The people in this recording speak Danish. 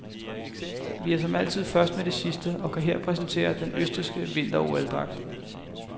Vi er som altid først med det sidste og kan her præsentere den østrigske vinter-OL-dragt.